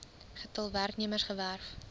getal werknemers gewerf